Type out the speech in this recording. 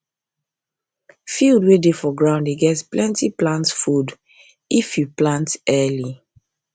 field wey dey for ground dey get plenty plant food if you food if you plant early